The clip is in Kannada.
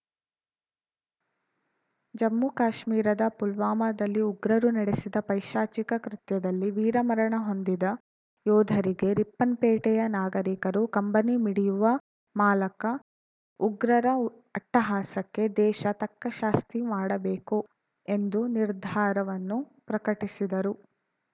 ಜಮ್ಮು ಕಾಶ್ಮೀರದ ಪುಲ್ವಾಮದಲ್ಲಿ ಉಗ್ರರು ನಡೆಸಿದ ಪೈಶಾಚಿಕ ಕೃತ್ಯದಲ್ಲಿ ವೀರಮರಣ ಹೊಂದಿದ ಯೋಧರಿಗೆ ರಿಪ್ಪನ್‌ಪೇಟೆಯ ನಾಗರೀಕರು ಕಂಬನಿ ಮಿಡಿಯುವ ಮಾಲಕ ಉಗ್ರರ ಅಟ್ಟಹಾಸಕ್ಕೆ ದೇಶ ತಕ್ಕಶಾಸ್ತಿ ಮಾಡಬೇಕು ಎಂದು ನಿರ್ಧಾರವನ್ನು ಪ್ರಕಟಿಸಿದರು